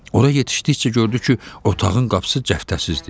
Ora yetişdikcə gördü ki, otağın qapısı cəftəsizdir.